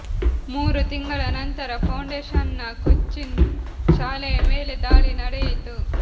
ಮೂರು ತಿಂಗಳ ನಂತರ ಫೌಂಡೇಷನ್ನ ಕೊಚ್ಚಿನ್ ಶಾಲೆಯ ಮೇಲೆ ದಾಳಿ ನಡೆಯಿತು